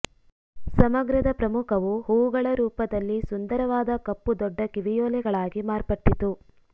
ಸಮಗ್ರದ ಪ್ರಮುಖವು ಹೂವುಗಳ ರೂಪದಲ್ಲಿ ಸುಂದರವಾದ ಕಪ್ಪು ದೊಡ್ಡ ಕಿವಿಯೋಲೆಗಳಾಗಿ ಮಾರ್ಪಟ್ಟಿತು